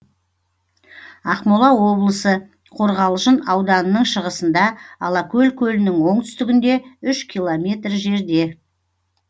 ақмола облысы қорғалжын ауданының шығысында алакөл көлінің оңтүстігінде үш километр жерде